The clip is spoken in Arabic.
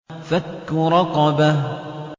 فَكُّ رَقَبَةٍ